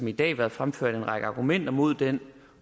i dag været fremført en række argumenter mod den